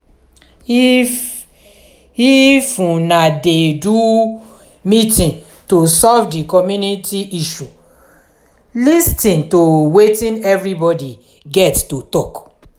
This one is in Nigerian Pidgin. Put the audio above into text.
if if una dey do meeting to solve di community issue lis ten to wetin everybody get to talk